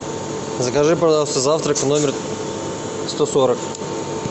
закажи пожалуйста завтрак в номер сто сорок